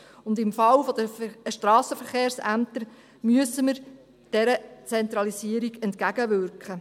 Und im Falle der Strassenverkehrsämter müssen wir dieser Zentralisierung entgegenwirken.